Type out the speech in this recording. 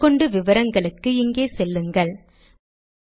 மேற்கொண்டு விவரங்களுக்கு இங்கே செல்லுங்கள் httpspoken tutorialorgNMEICT Intro